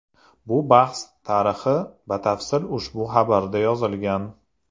Bu bahs tarixi batafsil ushbu xabarda yozilgan.